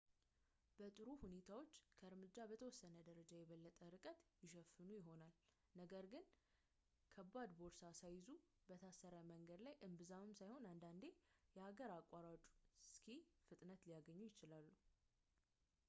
በጥሩ ሁኔታዎች ከእርምጃ በተወሰነ ደረጃ የበለጠ ርቀት ይሸፍኑ ይሆናል ነገር ግን ከባድ ቦርሳ ሳይዙ በ ታረሰ መንገድ ላይ እምብዛም ሳይሆን አንዳንዴ የሀገር አቋራጭ ስኪ ፍጥነት ሊያገኙ ይችላሉ